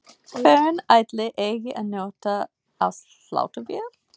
Hvern ætli eigi að nota á sláttuvél?